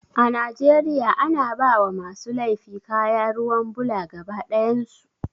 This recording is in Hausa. A Najeriya ana bawa masu laifi kaya ruwan bula gaba ɗayan su